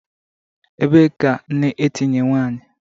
Ebee ka nne etinye nwanyi?